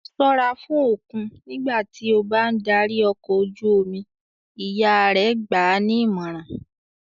"Ṣọ́ra fún òkun nígbà tí ó bá ń darí ọkọ̀ ojú-omi!" Ìyá rẹ̀ gbà á nímọ̀ràn.